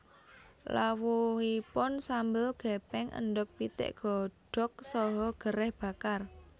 Lawuhipun sambel gepeng endhog pitik godhog saha gereh bakar